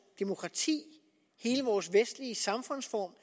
demokrati hele vores vestlige samfundsform